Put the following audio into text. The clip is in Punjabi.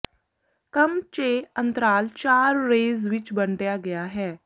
ਕੰਮ ਚੈ ਅੰਤਰਾਲ ਚਾਰ ਰੇਜ਼ ਵਿੱਚ ਵੰਡਿਆ ਗਿਆ ਹੈ